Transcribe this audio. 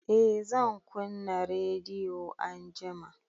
Eh zan kunna rediyo anjima